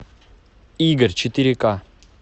игорь четыре ка